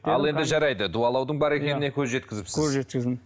ал енді жарайды дуалаудың бар екеніне көз жеткізіпсіз көз жеткіздім